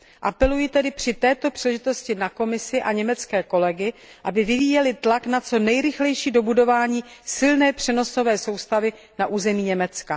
Apeluji tedy při této příležitosti na Komisi a německé kolegy, aby vyvíjeli tlak na co nejrychlejší dobudování silné přenosové soustavy na území Německa.